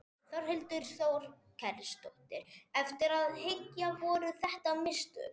Þórhildur Þorkelsdóttir: Eftir á að hyggja, voru þetta mistök?